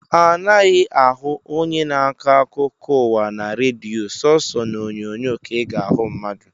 A naghị ahụ onye na-akọ akụkọ ụwa na redio, sooso n’onyonyo ka ị ga-ahụ mmadụ